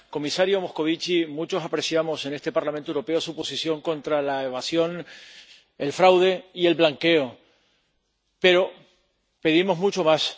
Comisario Moscovici, muchos apreciamos en este Parlamento Europeo su posición contra la evasión, el fraude y el blanqueo, pero pedimos mucho más.